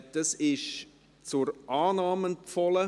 Dieses ist von der Regierung zur Annahme empfohlen.